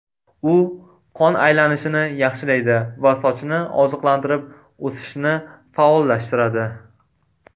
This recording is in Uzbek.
U qon aylanishini yaxshilaydi va sochni oziqlantirib, o‘sishini faollashtiradi.